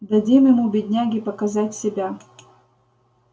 дадим ему бедняге показать себя